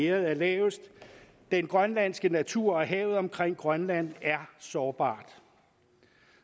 er lavest den grønlandske natur og havet omkring grønland er sårbare